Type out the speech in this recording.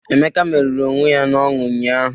Emeka merụrụ onwe ya n'ọñụ ụnyahụ